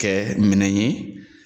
Kɛ minɛ ye